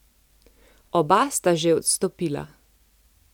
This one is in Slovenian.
Oba sta že odstopila.